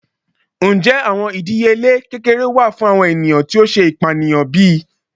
Njẹ awọn idiyele kekere wa fun awọn eniyan ti o ṣe ipaniyan bi?